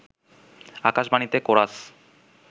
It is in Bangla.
আকাশবাণীতে কোরাস